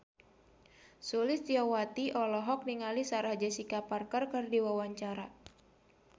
Sulistyowati olohok ningali Sarah Jessica Parker keur diwawancara